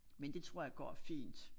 Men det tror jeg går fint